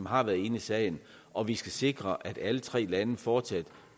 har været inde i sagen og vi skal sikre at alle tre lande fortsat